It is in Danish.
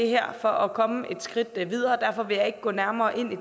her for at komme et skridt videre derfor vil jeg ikke gå nærmere ind i